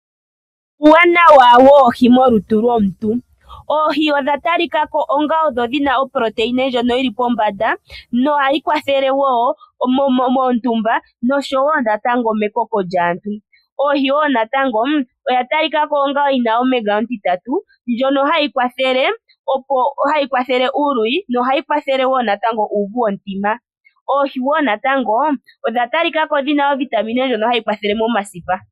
Uuwanawa woohii molutu lomuntu, oohii odha talikako onga odho opolotine ndjono yili pombanda nohadhi kwathele motumba noshowo natango mekoko lyaantu, oohii wo natango oya talikako omenga otitatu ndjono hayi kwathele uuluwi nohayi kwathele wo natango uvu womutima oohii wo natango odha talikako dhina ovitamine ndjono hayi kwathele omasipa.